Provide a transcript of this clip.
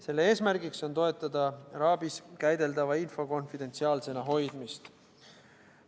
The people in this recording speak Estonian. Selle eesmärk on toetada RAB-i käideldava info konfidentsiaalsena hoidmist.